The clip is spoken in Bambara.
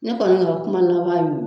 Ne kɔni ka kuma laban y'o ye.